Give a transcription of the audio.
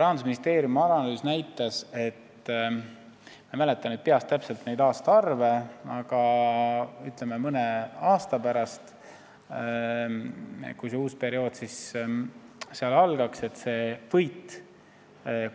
Rahandusministeeriumi analüüs aga näitas, et mõne aasta pärast – ma ei mäleta peast täpselt neid aastaarve –, kui uus periood algaks ja